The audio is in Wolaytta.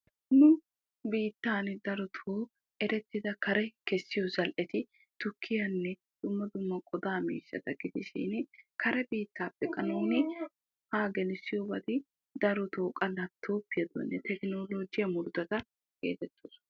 nu biitaani darotoo erettida kare kessiyo zal'etti tukkiyaanne dumma dumma qodaa miishshata gidishin karte biitaappe qa nuuni haa gelissiyobati darotoo laapitoopiyane tekkinoologiya murutata geetettoosona.